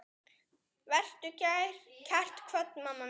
Vertu kært kvödd, mamma mín.